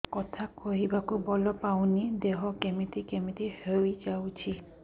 କଥା କହିବାକୁ ବଳ ପାଉନି ଦେହ କେମିତି କେମିତି ହେଇଯାଉଛି